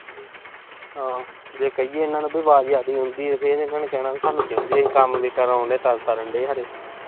ਆਹੋ। ਜੇ ਕਹੀਏ ਇਨ੍ਹਾਂ ਨੂੰ ਵੀ ਆਵਾਜ਼ ਜ਼ਿਆਦਾ ਆਉਂਦੀ। ਫਿਰ ਇਨ੍ਹਾਂ ਨੇ ਕਹਿਣਾ ਵੀ ਸਾਨੂੰ ਕਹਿੰਦੇ ਆ। ਕੰਮ ਕਰਾਉਣ ਡਏ ਆਂ, ਤਦ ਕਰਨ ਡਏ ਆ ਖੌਰੇ